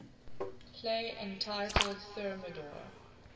play entitled thermidor